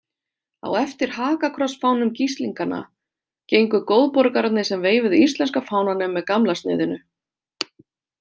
Á eftir hakakrossfánum Gíslinganna gengu góðborgararnir sem veifuðu íslenska fánanum með gamla sniðinu.